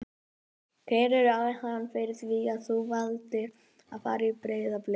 Hver er ástæðan fyrir því að þú valdir að fara í Breiðablik?